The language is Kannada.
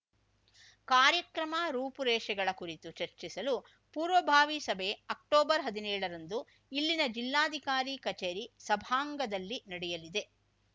ಕಾರ್ಯಕ್ರಮ ರೂಪುರೇಷೆಗಳ ಕುರಿತು ಚರ್ಚಿಸಲು ಪೂರ್ವಭಾವಿ ಸಭೆ ಅಕ್ಟೊಬರ್ಹದಿನೇಳರಂದು ಇಲ್ಲಿನ ಜಿಲ್ಲಾಧಿಕಾರಿ ಕಚೇರಿ ಸಭಾಂಗದಲ್ಲಿ ನಡೆಯಲಿದೆ